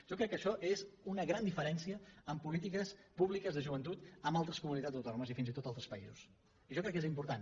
jo crec que això és una gran diferència en polítiques públiques de joventut amb altres comunitats autònomes i fins i tot altres països i jo crec que és important